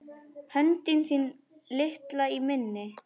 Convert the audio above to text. Höndin þín litla í minni.